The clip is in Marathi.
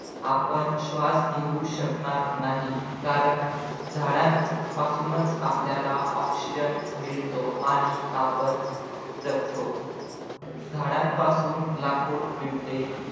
आपण श्वास घेऊ शकणार नाही कारण झाडांपासून आपल्याला oxygen मिळतो आणि आपण जगतो झाडांपासून लाकूड मिळते.